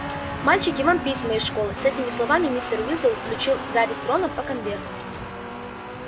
мальчики вам письма из школы с этими словами мистер уизли вручил гарри с роном по конверту